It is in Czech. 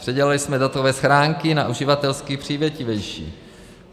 Předělali jsme datové schránky na uživatelsky přívětivější.